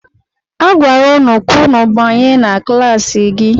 A gwara ụnụ ka ụnụ banye na klaasị gị!